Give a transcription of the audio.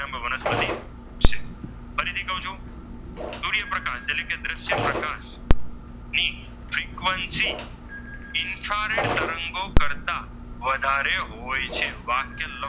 વધારે હોય છે વાક્ય,